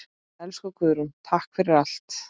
Elsku Guðrún, takk fyrir allt.